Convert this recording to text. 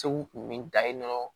Segu kun bɛ da yen nɔ